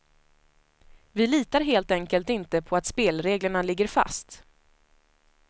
Vi litar helt enkelt inte på att spelreglerna ligger fast.